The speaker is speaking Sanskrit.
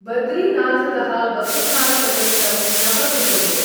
बद्रीनाथतः वसुधारपर्यन्तं नव किलो मीटर्.